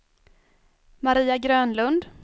Maria Grönlund